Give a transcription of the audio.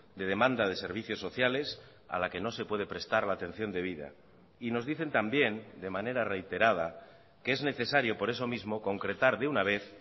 de demanda de servicios sociales a la que no se puede prestar la atención debida y nos dicen también de manera reiterada que es necesario por eso mismo concretar de una vez